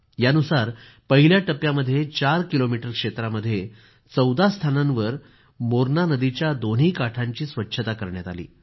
त्यानुसार पहिल्या टप्प्यामध्ये चार किलोमीटर क्षेत्रामध्ये चौदा स्थानांवर मोरणा नदीच्या दोन्ही काठांची स्वच्छता करण्यात आली